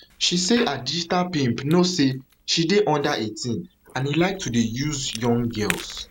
she say her digital pimp know say she dey under eighteen and e like to dey use young girls